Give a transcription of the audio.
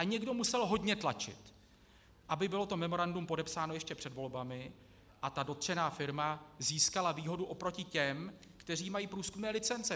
A někdo musel hodně tlačit, aby bylo to memorandum podepsáno ještě před volbami a ta dotčená firma získala výhodu oproti těm, kteří mají průzkumné licence.